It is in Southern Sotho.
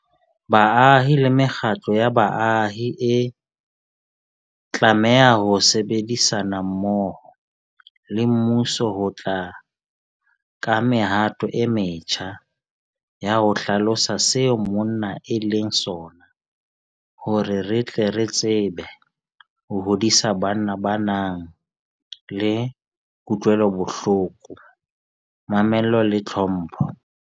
Baahi le mekgatlo ya baahi e tlameha ho sebedisana mmoho le mmuso ho tla ka mehato e metjha ya ho hlalosa seo monna e leng sona hore re tle re tsebe ho hodisa banna ba nang le kutlwelobohloko, mamello le tlhompho.